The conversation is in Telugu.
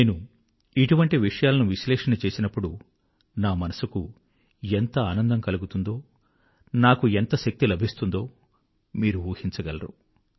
నేను ఇటువంటి విషయాలను అనాలిసిస్ చేసినప్పుడు నా మనసుకెంత ఆనందం కలుగుతుందో నాకెంత శక్తి లభిస్తుందో మీరు ఊహించగలరు